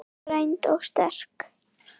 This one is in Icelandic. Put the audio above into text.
Greind og sterk.